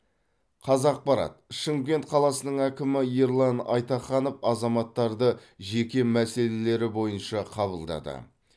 қазақпарат шымкент қаласының әкімі ерлан айтаханов азаматтарды жеке мәселелері бойынша қабылдады